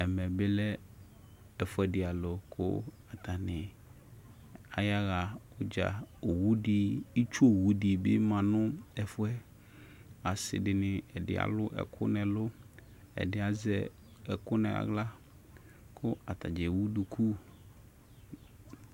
Ɛme ɛfʊɛdɩ alʊ ayaɣa udza itsʊ owudɩbɩ manu ɛfʊ yɛ asɩdɩnɩ ɛdɩ alʊ ɛkʊ nʊ ɛlʊ ɛdɩ azɛ ɛkʊ kʊ aɣla kʊ atanɩ ewu dʊkʊ